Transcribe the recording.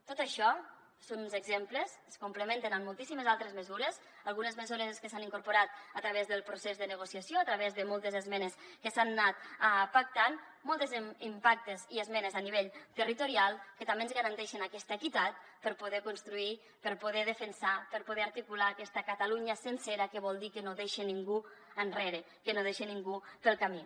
tot això són uns exemples es complementen amb moltíssimes altres mesures algunes mesures que s’han incorporat a través del procés de negociació a través de moltes esmenes que s’han anat pactant molts impactes i esmenes a nivell territorial que també ens garanteixen aquesta equitat per poder construir per poder defensar per poder articular aquesta catalunya sencera que vol dir que no deixa ningú enrere que no deixa ningú pel camí